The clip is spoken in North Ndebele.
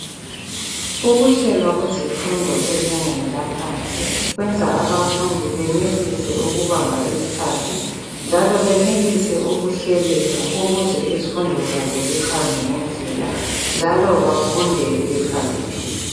Ukuhlelwa kwezifundo ezingeni laphansi kwenza abafundi benelise ukubamba isikhathi, njalo benelise ukuhleleka, ukuze izifundo zabo zihambe ngendlela, njalo bafunde bekhaliphile.